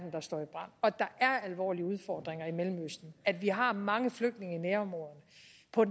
der står i brand at der er alvorlige udfordringer i mellemøsten at vi har mange flygtninge i nærområdet